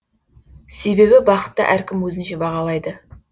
себебі бақытты әркім өзінше бағалайды